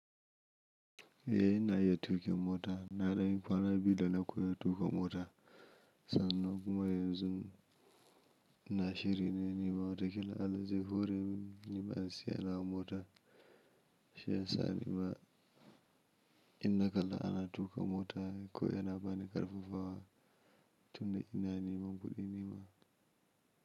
Eh ina iya tukin mota, na dai kwana biyu da na koya tuƙa mota. Sannan kuma yanzu na shirya nima wataƙila Allah zai hore min in siya nawa motan. Shi yasa nima in na kalla ana tuƙa mota ko wai yana bani ƙarfafawa tun da ina neman kuɗi nima.